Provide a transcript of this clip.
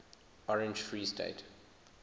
orange free state